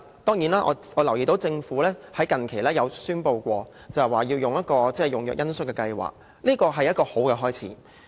當然，我留意到政府近期宣布的恩恤用藥計劃，這是一個好的開始。